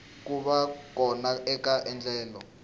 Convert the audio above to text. ku va kona eka endlelo